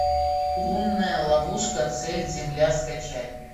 лунная ловушка цель земля скачай